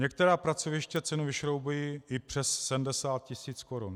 Některá pracoviště cenu vyšroubují i přes 70 tisíc korun.